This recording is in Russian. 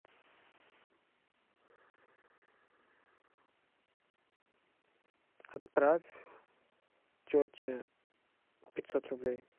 отправь тете пятьсот рублей